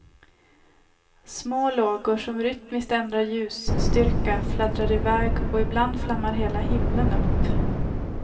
Små lågor som rytmiskt ändrar ljusstyrka fladdrar iväg, och ibland flammar hela himlen upp.